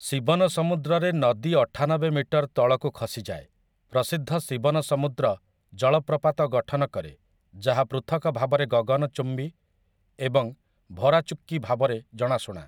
ଶିବନସମୁଦ୍ରରେ ନଦୀ ଅଠାନବେ ମିଟର ତଳକୁ ଖସିଯାଏ, ପ୍ରସିଦ୍ଧ ଶିବନସମୁଦ୍ର ଜଳପ୍ରପାତ ଗଠନ କରେ ଯାହା ପୃଥକ ଭାବରେ ଗଗନ ଚୁକ୍କି ଏବଂ ଭାରା ଚୁକ୍କି ଭାବରେ ଜଣାଶୁଣା ।